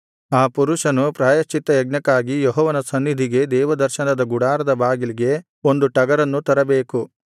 ಆ ಪುರುಷನು ಪ್ರಾಯಶ್ಚಿತ್ತಯಜ್ಞಕ್ಕಾಗಿ ಯೆಹೋವನ ಸನ್ನಿಧಿಗೆ ದೇವದರ್ಶನದ ಗುಡಾರದ ಬಾಗಿಲಿಗೆ ಒಂದು ಟಗರನ್ನು ತರಬೇಕು